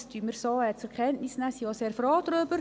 Dies nehmen wir so zur Kenntnis und sind sehr froh darüber.